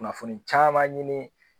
Kunnafoni caaman ɲini